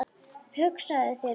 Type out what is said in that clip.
Hugsaðu þér bara!